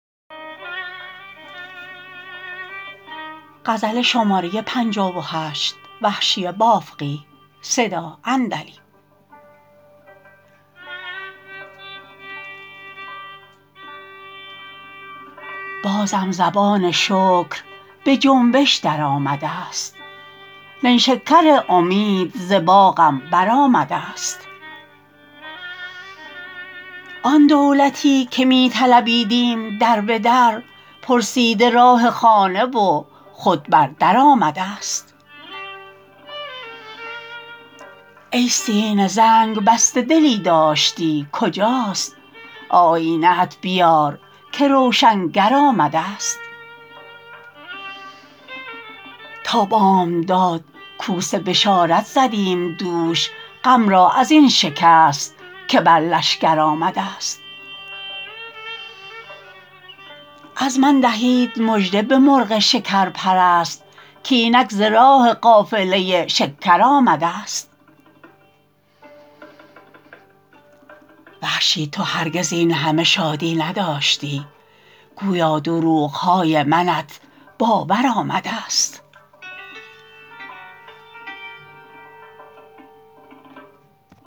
بازم زبان شکر به جنبش درآمدست نیشکر امید ز باغم بر آمدست آن دولتی که می طلبیدیم در به در پرسیده راه خانه و خود بر در آمدست ای سینه زنگ بسته دلی داشتی کجاست آیینه ات بیار که روشنگر آمدست تا بامداد کوس بشارت زدیم دوش غم را ازین شکست که بر لشکر آمدست از من دهید مژده به مرغ شکر پرست کاینک ز راه قافله شکر آمدست وحشی تو هرگز اینهمه شادی نداشتی گویا دروغهای منت باور آمدست